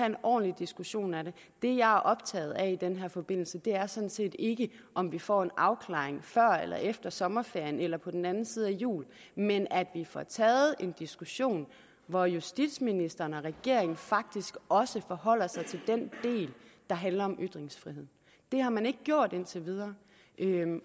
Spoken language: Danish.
en ordentlig diskussion af det det jeg er optaget af i den her forbindelse er sådan set ikke om vi får en afklaring før eller efter sommerferien eller på den anden side af jul men at vi får taget en diskussion hvor justitsministeren og regeringen faktisk også forholder sig til den del der handler om ytringsfriheden det har man ikke gjort indtil videre